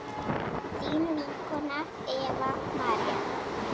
þín vinkona Eva María.